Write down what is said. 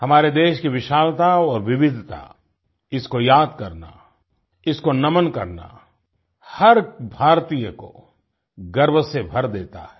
हमारे देश की विशालता और विविधता इसको याद करना इसको नमन करना हर भारतीय को गर्व से भर देता है